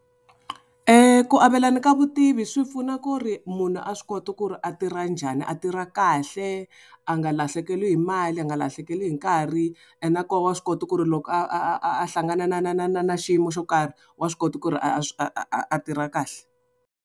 Ku avelana ka vutivi swi pfuna ku ri munhu swi kota ku ri a tirha njhani a tirha kahle, a nga lahlekeli hi mali, a nga lahlekeli hi nkarhi ene nakoho wa swi kota ku ri loko a a a a a hlangana na na na na na xiyimo xo karhi, wa swi ku ri a a a a tirha kahle.